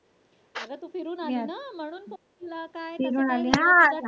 अग तू फिरून आली ना म्हणून तुला काय